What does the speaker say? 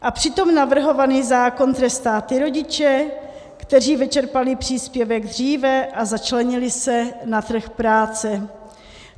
A přitom navrhovaný zákon trestá ty rodiče, kteří vyčerpali příspěvek dříve a začlenili se na trh práce.